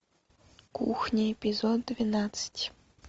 кухня эпизод двенадцать